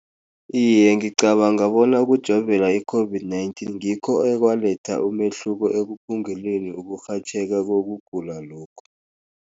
Iye, ngicabanga bona ukujovela i-COVID-19, ngikho ekwaletha umehluko ekuphunguleni kokurhatjheka kokugula lokhu.